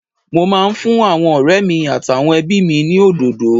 Mo máa ń fún àwọn ọ̀rẹ́ mi àtàwọn ẹbí mi ní òdòdó